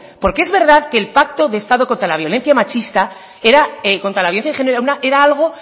porque es verdad que el pacto de estado contra la violencia de género era algo